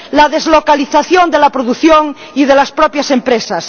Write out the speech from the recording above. la deslocalización de la producción y de las propias empresas.